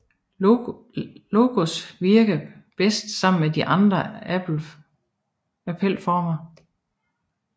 Logos virker bedst sammen med de andre appelformer